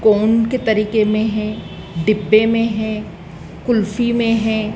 कोन के तरीके में है डिब्बे में है कुल्फी में है।